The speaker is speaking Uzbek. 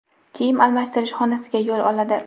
kiyim almashtirish xonasiga yo‘l oladi.